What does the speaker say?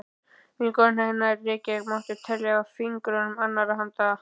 Vinkonur hennar í Reykjavík mátti telja á fingrum annarrar handar.